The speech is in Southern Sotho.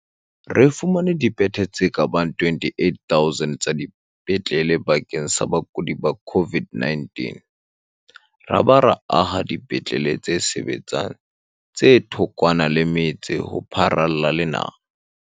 Re fumane dibethe tse ka bang 28 000 tsa dipetlele bakeng sa bakudi ba COVID-19 ra ba ra aha dipetlele tse sebetsang tse thokwana le metse ho pharalla le naha.